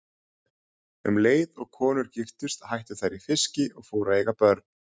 Um leið og konur giftust hættu þær í fiski og fóru að eiga börn.